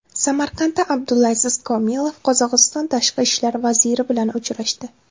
Samarqandda Abdulaziz Komilov Qozog‘iston Tashqi ishlar vaziri bilan uchrashdi.